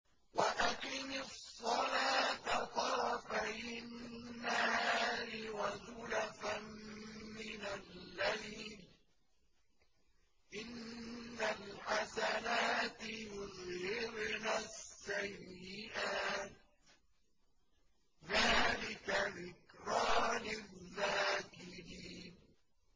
وَأَقِمِ الصَّلَاةَ طَرَفَيِ النَّهَارِ وَزُلَفًا مِّنَ اللَّيْلِ ۚ إِنَّ الْحَسَنَاتِ يُذْهِبْنَ السَّيِّئَاتِ ۚ ذَٰلِكَ ذِكْرَىٰ لِلذَّاكِرِينَ